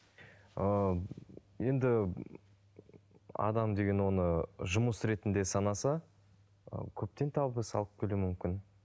ыыы енді адам деген оны жұмыс ретінде санаса ы көптен табыс алып келуі мүмкін